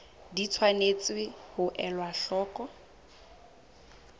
di tshwanetse ho elwa hloko